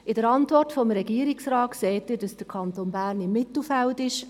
In der Antwort des Regierungsrates sehen Sie, dass der Kanton Bern im Mittelfeld ist.